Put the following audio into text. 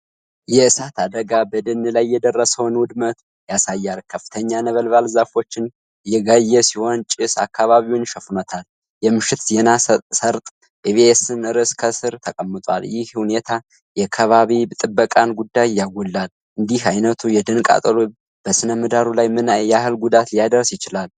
የእሳት አደጋ በደን ላይ የደረሰውን ውድመት ያሳያል። ከፍተኛ ነበልባል ዛፎችን እየጋየ ሲሆን ጭስ አካባቢውን ሸፍኖታል። የምሽት ዜና ሰርጥ ኢቢኤስ ርዕስ ከስር ተቀምጧል። ይህ ሁኔታ የአካባቢ ጥበቃን ጉዳይ ያጎላል። እንዲህ አይነቱ የደን ቃጠሎ በሥነ-ምህዳሩ ላይ ምን ያህል ጉዳት ሊያደርስ ይችላል?